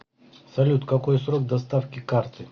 салют какой срок доставки карты